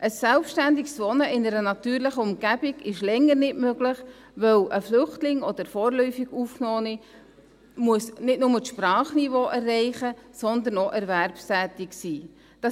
Ein selbstständiges Wohnen in einer natürlichen Umgebung ist länger nicht möglich, weil ein Flüchtling oder vorläufig Aufgenommene nicht nur das Sprachniveau erreichen müssen, sondern auch erwerbstätig sein müssen.